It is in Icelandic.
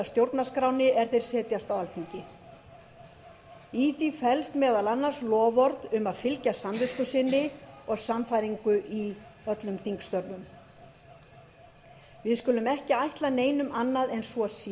stjórnarskránni er þeir setjast á alþingi í því felst meðal annars loforð um að fylgja samvisku sinni og sannfæringu í öllum þingstörfum við skulum ekki ætla neinum annað en að svo